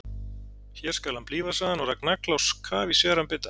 Hér skal hann blífa, sagði hann og rak nagla á kaf í sveran bita.